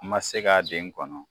N ma se k'a den kɔnɔ